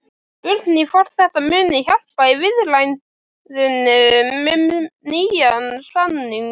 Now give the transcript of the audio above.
Spurning hvort þetta muni hjálpa í viðræðunum um nýjan samning?